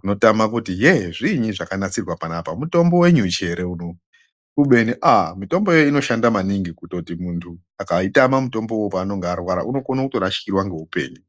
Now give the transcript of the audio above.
unotama kuti yee zviinyi zvakanasirwa panapa mutombo wenyuchi ere unou kubeni aa mitombo iyi inoshanda maningi kutoti munthu akaitama mitombo uwu paanenge arwara unokona kutorashikorwa neupenyu.